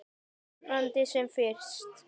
Vonandi sem fyrst.